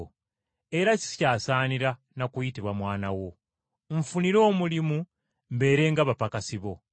era sikyasaanira na kuyitibwa mwana wo. Nfunira omulimu mbeere ng’abapakasi bo.’